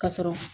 Ka sɔrɔ